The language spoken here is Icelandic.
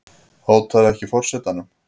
Hótaði ekki forsetanum